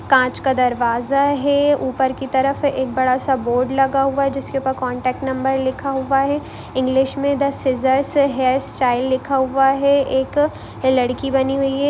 कांच का दरवाजा है ऊपर की तरफ एक बड़ा सा बोर्ड लगा हुआ है जिसके ऊपर कॉन्टैक्ट नंबर लिखा हुआ है इंग्लिश में द सिजर्स हैयर्स स्टाइल लिखा हुआ है एक अ लड़की बनी हुई है।